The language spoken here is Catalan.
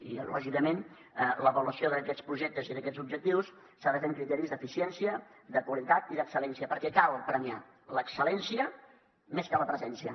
i lògicament l’avaluació d’aquests projectes i d’aquests objectius s’ha de fer amb criteris d’eficiència de qualitat i d’excel·lència perquè cal premiar l’excel·lència més que la presència